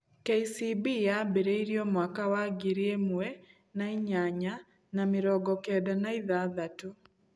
KCB yambĩrĩirio mwaka wa ngiri ĩmwe na inyanya na mĩrongo kenda na ithathatũ.